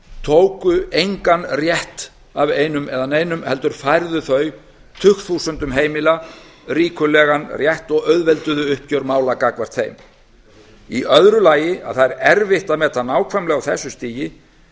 tóku engan rétt af einum eða neinum heldur færðu þau tugþúsundum heimila ríkulegan rétt og auðvelduðu uppgjör mála gagnvart þeim í öðru lagi er erfitt að meta nákvæmlega á þessu stigi